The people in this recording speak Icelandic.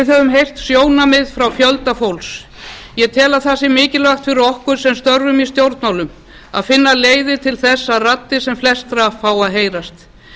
við höfum heyrt sjónarmið frá fjölda fólks ég tel að það sé mikilvægt fyrir okkur sem störfum í stjórnmálum að finna leiðir til þess að raddir sem flestra fái að heyrast